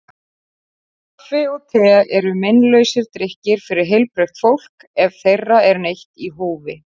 Kaffi og te eru meinlausir drykkir fyrir heilbrigt fólk ef þeirra er neytt í hófi.